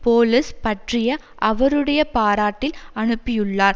police பற்றிய அவருடைய பாராட்டில் அனுப்பியுள்ளார்